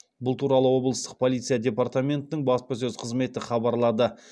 бұл туралы облыстық полиция департаментінің баспасөз қызметі хабарлады